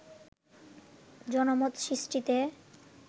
জনমত সৃষ্টিতে